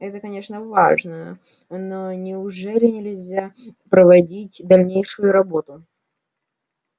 это конечно важно но неужели нельзя проводить дальнейшую работу